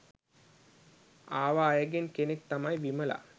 ආව අයගෙන් කෙනෙක් තමයි විමලා.